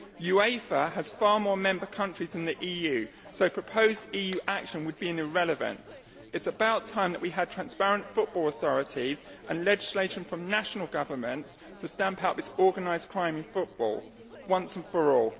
UEFA has far more member countries than the EU, so proposed EU action would be an irrelevance. It is about time that we had transparent football authorities and legislation from national governments to stamp out this organised crime in football once and for all.